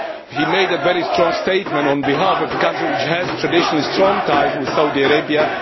He made a very strong statement on behalf of his country, which has traditionally strong ties with Saudi Arabia.